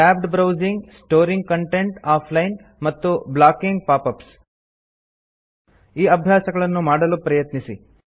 tabbed browsing storing content offline ಮತ್ತು blocking pop ups ಈ ಅಭ್ಯಾಸಗಳನ್ನು ಮಾಡಲು ಪ್ರಯತ್ನಿಸಿ